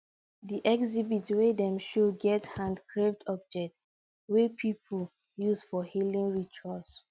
di exhibit wey dem show get handcarved object wey people use for healing rituals